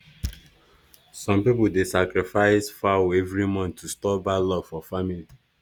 some people dey sacrifice fowl every month to stop bad luck for family.